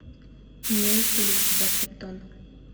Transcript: имеется ли у тебя криптон